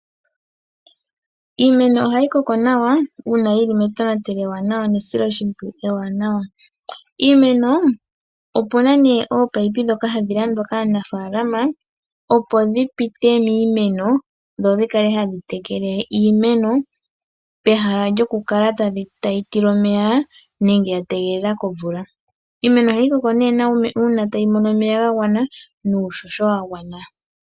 Iimeno ohayi koko nawa uuna yili metonatelo nesiloshimpwiyu ewanawa. Iimeno opu na nee ominino ndhoka hadhi landwa kaanafaalama opo dhi pite miimeno dho dhi kale hadhi tekele iimeno pehala lyokukala tayi tilwa omeya nenge ya tegelela komvula. Iimeno ohayi koko nee nawa uuna tayi mono omeya ga gwana nuuhoho wa gwana.